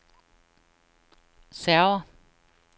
server